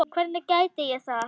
Hvernig gæti ég það?